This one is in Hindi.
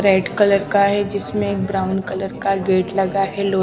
रेड कलर का है जिसमें एक ब्राउन कलर का गेट लगा है लो --